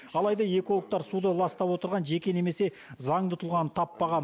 алайда экологтар суды ластап отырған жеке немесе заңды тұлғаны таппаған